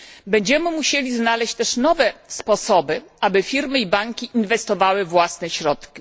Będziemy też musieli znaleźć nowe sposoby, aby firmy i banki inwestowały własne środki.